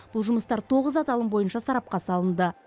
бұл жұмыстар тоғыз аталым бойынша сарапқа салынды